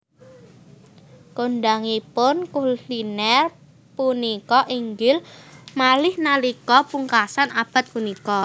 Kondhangipun kulinèr punika inggil malih nalika pungkasan abad punika